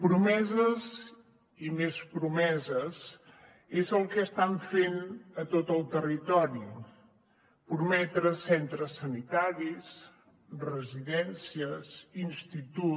promeses i més promeses és el que estan fent a tot el territori prometre centres sanitaris residències institut